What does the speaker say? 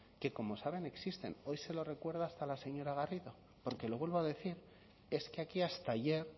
que como saben existen hoy se lo recuerda hasta la señora garrido porque lo vuelvo a decir es que aquí hasta ayer